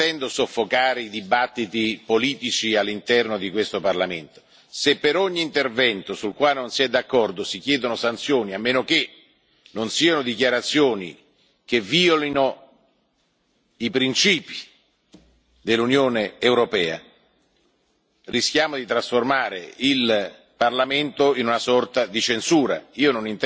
Non intendo soffocare i dibattiti politici all'interno di questo Parlamento, se per ogni intervento sul quale non si è d'accordo si chiedono sanzioni, a meno che non siano dichiarazioni che violino i principi dell'Unione europea, rischiamo di trasformare il Parlamento in una sorta di censura.